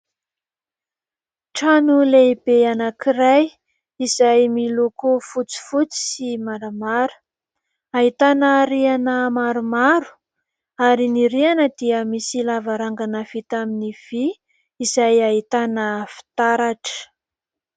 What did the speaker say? Trano lehibe anankiray izay miloko fotsifotsy sy maramara, hahitana rihana maromaro ary ny rihana dia misy lavarangana vita tamin'ny vy izay hahitana fitaratra.